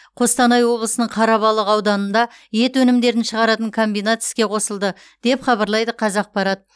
қостанай облысының қарабалық ауданында ет өнімдерін шығаратын комбинат іске қосылды деп хабарлайды қазақпарат